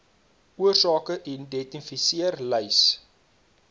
oorsake identifiseer lys